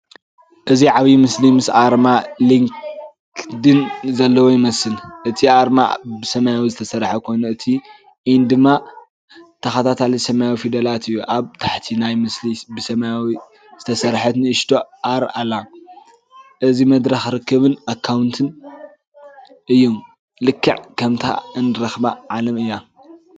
እዚ ዓቢይ ምስሊ ምስ ኣርማ ሊንክድይን ዘለዎ ይመስል። እቲ ኣርማ ብሰማያዊ ዝተሰርሐ ኮይኑ እቲ 'ኢን'ድማ ተኸታታሊ ሰማያዊ ፊደላት እዩ። ኣብ ታሕቲ ናይቲ ምስሊ ብሰማያዊ ዝተሰርሐት ንእሽቶ 'ኣር' ኣላ። እዚ መድረኽ ርክብን ክውንነትን እዩ። ልክዕ ከምታ እንራኸባ ዓለም እያ።